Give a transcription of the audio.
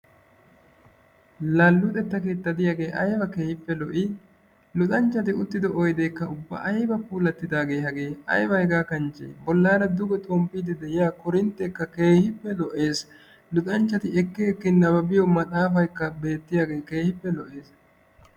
la luuxxetta keettay diyaagee ayba keehippe lo"ii! luxanchatti uttido oydeekka ubba ayba puulatidaagee hagee! ayba hegaa kanchee boollara duge xoomppidi de'iyaa korintteekka keehippe lo"ees. luxxanchatti ekki ekki nababiyoo maaxxafaayikka beetiyaagekka keehippe lo"ees.